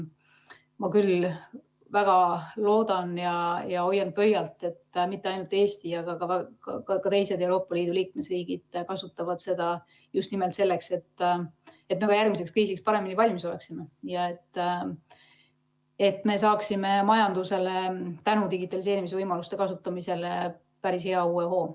Ma küll väga loodan ja hoian pöialt, et mitte ainult Eesti, vaid ka teised Euroopa Liidu liikmesriigid kasutavad seda just nimelt selleks, et me järgmiseks kriisiks paremini valmis oleksime, et me saaksime majandusele tänu digitaliseerimise võimaluste kasutamisele sisse päris hea uue hoo.